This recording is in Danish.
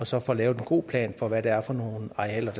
så får lavet en god plan for hvad det er for nogle arealer